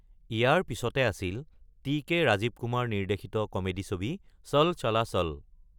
ইয়াৰ পিছতে আছিল T K Rajeev Kumar নিৰ্দেশিত কমেডি ছবি চল চালা চল।